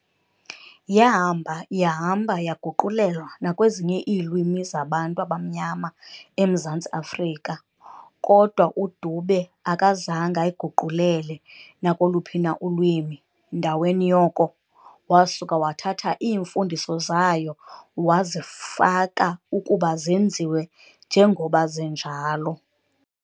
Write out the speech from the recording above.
Yahamba yahamba yaguqulelwa nakwezinye iilwimi zaBantu abamnyama emZantsi Afrika, kodwa uDube akazange ayiguqulele nakoluphi na ulwimi, ndaweni yoko, wasuka wathatha iimfundiso zayo wazifaka ukuba zenziwe njengoba zinjalo.